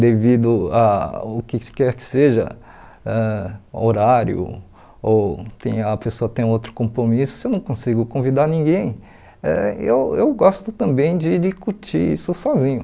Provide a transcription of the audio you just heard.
devido ao que quer que seja ãh horário ou tem a pessoa tem outro compromisso, se eu não consigo convidar ninguém, eh eu eu gosto também de de curtir isso sozinho.